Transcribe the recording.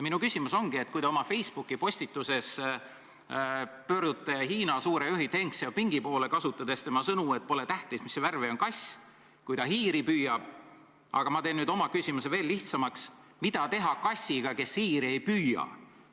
Minu küsimus ongi, et kui te oma Facebooki postituses pöördute Hiina suure juhi Deng Xiaopingi poole, kasutades tema sõnu, et pole tähtis, mis värvi on kass, kui ta hiiri püüab, siis ma küsin teilt nüüd lihtsa küsimuse: mida teha kassiga, kes hiiri ei püüa?